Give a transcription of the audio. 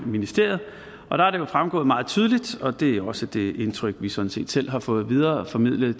ministeriet og der er det fremgået meget tydeligt og det er også det indtryk vi sådan set selv har fået videreformidlet